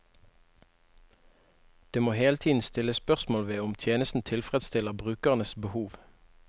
Det må hele tiden stilles spørsmål ved om tjenesten tilfredsstiller brukernes behov.